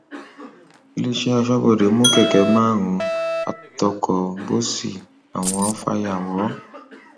iléeṣẹ aṣọbodè mú kẹkẹ márúwá àtọkọ bọọsì àwọn fàyàwọ